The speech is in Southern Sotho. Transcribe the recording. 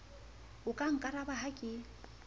o ka nkaraba ha ke